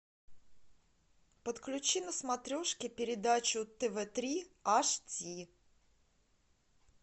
подключи на смотрешке передачу тв три аш ди